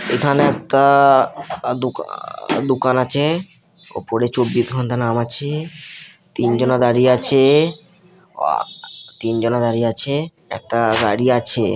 এখানে একটা-- দোকান আছে ওপরে চব্বিশ ঘন্টা নামাচ্ছি তিন জনা দাঁড়িয়ে আছে তিন জনা দাঁড়িয়ে আছে একটা গাড়ি আছে।